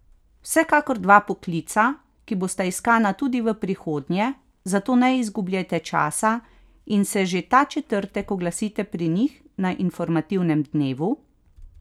Vsekakor dva poklica, ki bosta iskana tudi v prihodnje, zato ne izgubljajte časa in se že ta četrtek oglasite pri njih na informativnem dnevu!